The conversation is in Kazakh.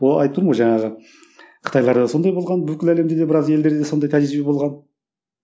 о айтып тұрмын ғой жаңағы қытайларда сондай болған бүкіл әлемде де біраз елдерде сондай тәжірибе болған